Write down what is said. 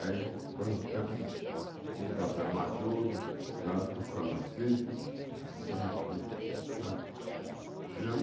Aí plantamos o café maduro, nós tocamos o sítio e tudo, sabe? Tinha um